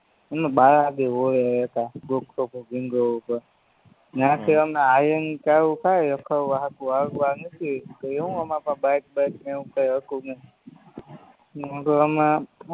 હમે બાલાજી રોડે રેતા ડોટ્સોફૂટ રીંગરોડ ઉપર ન્યાંથી હમે હાલીન ચાલુ થાયે રખડવા સાટું હાલવા નીકળ્યે તયે શું હમારી પાસે બાઈક બાઈક કાય એવું કાય હતું નય પછી હમે